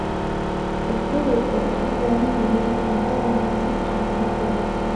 Farduhu waxay u baahan yihiin cunto wanaagsan caafimaad wanaagsan.